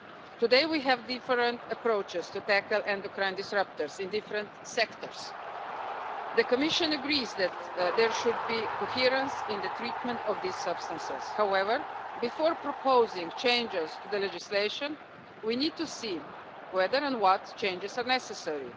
Today we have different approaches to tackle endocrine disruptors in different sectors. The Commission agrees that there should be coherence in the treatment of these substances. However, before proposing changes to the legislation we need to see whether and what changes are necessary.